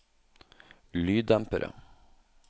lyddempere